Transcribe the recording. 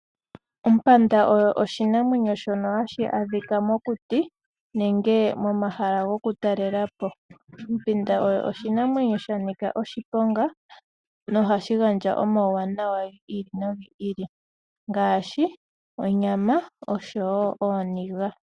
Ompanda oyo oshinamwenyo shono hashi adhika mokuti nenge momahala gokutalela po. Ompanda oyo oshinamwenyo sha nika oshiponga, ihe ohashi gandja omauwanawa gi ili nogi ili ngaashi onyama noshowo ooniga.